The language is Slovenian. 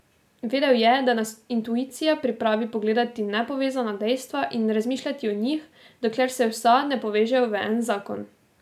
Vedel je, da nas intuicija pripravi pogledati nepovezana dejstva in razmišljati o njih, dokler se vsa ne povežejo v en zakon.